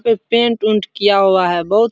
पे पेंट ऊंट किया हुआ है बहुत --